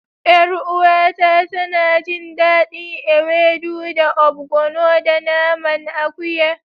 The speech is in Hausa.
Yar uwata tana jin dadin ewedu da obgono da naman akuya.